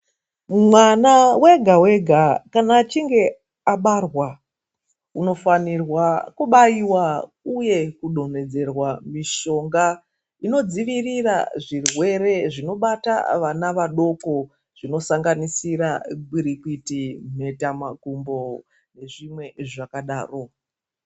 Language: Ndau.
Mwana wega wega kana achinge abarwa anofanirwa kubairwa uye kudonhedzerwa mishonga inodzivirira zvirwere zvinobata vana vadoko zvinosanganisira gwirikwiti, mheta makumbo nezvimwe zvakadaro.